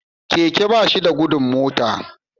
Keke bashida gudun mota